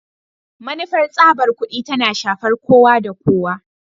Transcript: Manufar tsabar kudi tana shafar kowa da kowa